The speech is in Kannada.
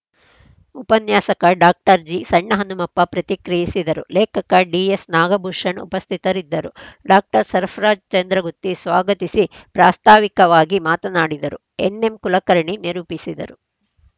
ಉಪನ್ಯಾಸಕ ಡಾಕ್ಟರ್ ಜಿಸಣ್ಣಹನುಮಪ್ಪ ಪ್ರತಿಕ್ರಿಯಿಸಿದರು ಲೇಖಕ ಡಿಎಸ್‌ನಾಗಭೂಷಣ್‌ ಉಪಸ್ಥಿತರಿದ್ದರು ಡಾಕ್ಟರ್ ಸಫ್ರ್ರರಾಜ್‌ ಚಂದ್ರಗುತ್ತಿ ಸ್ವಾಗತಿಸಿ ಪ್ರಾಸ್ತಾವಿಕವಾಗಿ ಮಾತನಾಡಿದರು ಎನ್‌ಎಂಕುಲಕರ್ಣಿ ನಿರೂಪಿಸಿದರು